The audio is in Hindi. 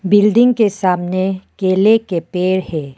बिल्डिंग के सामने केले के पेड़ है।